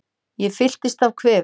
Ég fyllist af kvefi.